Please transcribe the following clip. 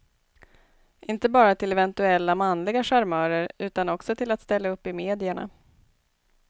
Inte bara till eventuella manliga charmörer, utan också till att ställa upp i medierna.